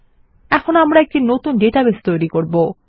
এখন আমরা একটি নতুন ডেটাবেস তৈরী করব